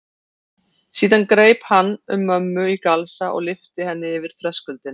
Síðan greip hann um mömmu í galsa og lyfti henni yfir þröskuldinn.